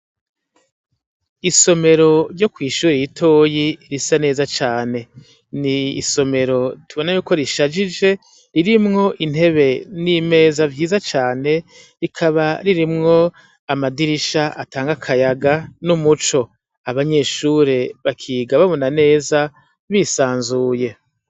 Isomero ryo ku ishuri y'itoyi risa neza cane ni isomero tubona ye ko rishagije ririmwo intebe n'imeza vyiza cyane rikaba ririmwo amadirisha atanga akayaga n'umuco abanyeshure bakiga babona neza bisanzuye.